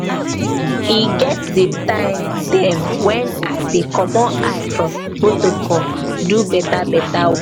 e get di time dem wen i dey comot eye for protocol do beta beta.